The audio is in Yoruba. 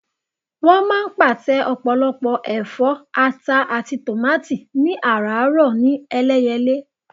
Wọ́n máa ń pàtẹ ọ̀pọ̀lọpọ̀ ẹ̀fọ́, ata àti tòmátì ní àràárọ̀ ní Ẹlẹ́yẹlé.